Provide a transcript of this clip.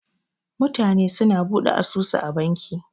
Mutane su na Buɗe asusu a banki.